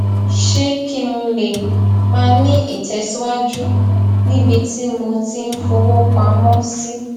ṣe kí n lè máa ní ìtèsíwájú níbi tí mo ti ń fowó pamó sí